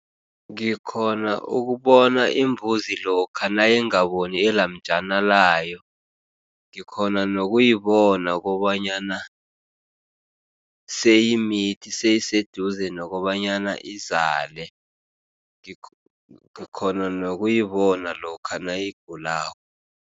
Ngikghona ukubona imbuzi lokha nayingaboni alamjana layo. Ngikghona nokuyibona kobanyana seyimithi, seyiseduze nokobanyana izale, ngikghona nokuyibona lokha nayigulako.